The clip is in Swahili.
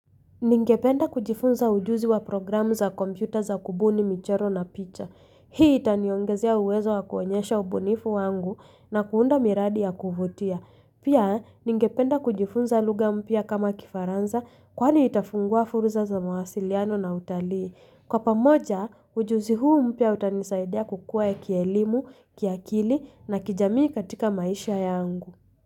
Ningependa kujifunza ujuzi wa programu za kompyuta za kubuni michoro na picha. Hii itaniongezia uwezo wa kuonyesha ubynifu wangu na kuunda miradi ya kuvutia. Pia, ningependa kujifunza lugha mpya kama kifaranza kwani itafungua furza za mawasiliano na utalii. Kwa pamoja, ujuzi huu mpya utanisaidia kukua ya kielimu, kiakili na kijamii katika maisha yangu.